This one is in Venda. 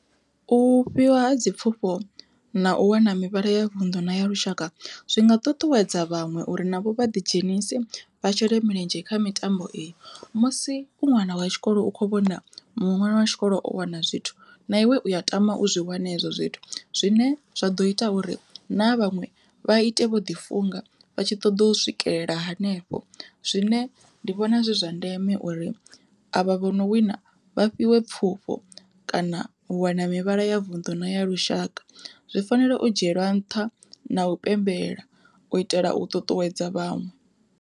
U fhiwa ha dzi pfhufho na u wana mivhala ya vunḓu na ya lushaka zwinga ṱuṱuwedza vhaṅwe uri navho vha ḓi dzhenise vha shele mulenzhe kha mitambo iyo, musi u ṅwana wa tshikolo u kho vhona muṅwe ṅwana wa tshikolo o wana zwithu na iwe u ya tama u zwi wana ezwo zwithu zwine zwa ḓo ita uri na havha vhaṅwe vha ite vho ḓi funga vha tshi ṱoḓa u swikelela hanefho. Zwine ndi vhona zwi zwa ndeme uri avha vho no wina vha fhiwe pfhufho kana u wana mivhala ya vunḓu na ya lushaka, zwi fanela u dzhielwa nṱha na u pembela u itela u ṱuṱuwedza vhaṅwe.